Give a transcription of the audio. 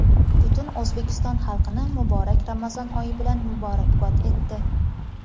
butun O‘zbekiston xalqini muborak Ramazon oyi bilan muborakbod etdi.